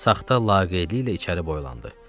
Saxta laqeydliyi ilə içəri boylandı.